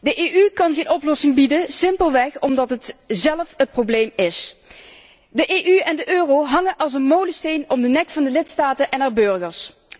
De EU kan geen oplossing bieden, simpelweg omdat zij zelf het probleem vormt. De EU en de euro hangen als een molensteen om de nek van de lidstaten en hun burgers.